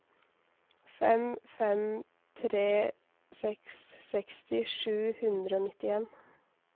fem fem tre seks seksti sju hundre og nittien